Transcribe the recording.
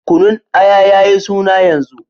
Kunun Aya ya yi suna yanzu.